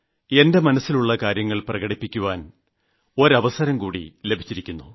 എന്റെ മനസ്സിലുള്ള കാര്യങ്ങൾ പ്രകടിപ്പിക്കുവാൻ ഒരുവസരംകൂടി എനിയ്ക്ക് ലഭിച്ചിരിക്കുന്നു